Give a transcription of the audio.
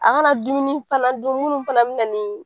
A ka na dumuni fana dun, munnu fana be na ni